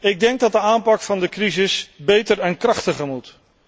Ik denk dat de aanpak van de crisis beter en krachtiger moet.